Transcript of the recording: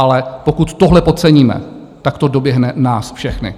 Ale pokud tohle podceníme, tak to doběhne nás všechny.